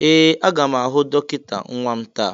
Ee! Aga m ahụ dọkịta nwa m taa.